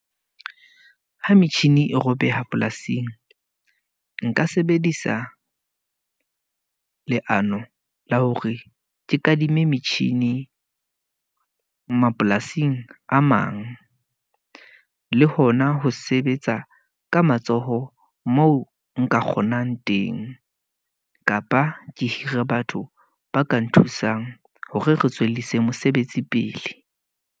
Ho metjhini e robeha polasing, nka sebedisa leano la hore ke kadime metjhini mapolasing a mang. Le hona ho sebetsa ka matsoho, mo nka kgonang teng. Kapa ke hire batho ba ka nthusang hore re tswellisa mosebetsi pele.